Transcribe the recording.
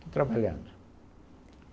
Estou trabalhando.